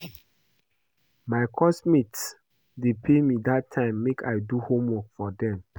My course mates dey pay me dat time make I do homework for dem